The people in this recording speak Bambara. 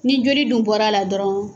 Ni joli dun bɔra a la dɔrɔn